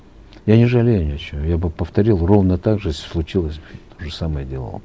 я не жалею ни о чем я бы повторил ровно так же если случилось бы то же самое делал бы